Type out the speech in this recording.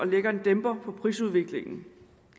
og lægger en dæmper på prisudviklingen